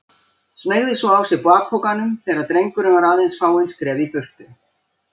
Smeygði svo á sig bakpokanum þegar drengurinn var aðeins fáein skref í burtu.